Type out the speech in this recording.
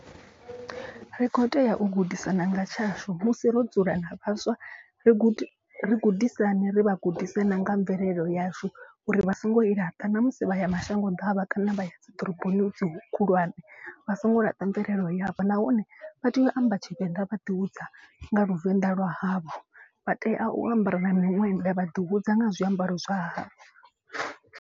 Ri kho tea u gudisana nga tshashu musi ro dzula na vhaswa ri gude ri gudisane ri vha gudise na nga mvelele yashu. Uri vha songo i laṱa namusi vha ya mashango ḓavha kana vha ya dzi ḓoroboni hedzi khulwane. Vha songo laṱa mvelelo yavho nahone vha tea u amba tshivenḓa vha ḓi hudza nga luvenḓa lwa havho. Vha tea u ambara na miṅwenda vha ḓi hudza nga zwiambaro zwa havho.